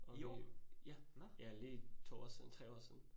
I, ja, ja lige 2 år siden, 3 år siden